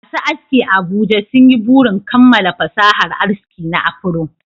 Masu aski a Abuja sun yi burin kammala fasahar aski na afro